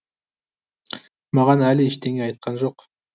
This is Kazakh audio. маған әлі ештеңе айтқан жоқ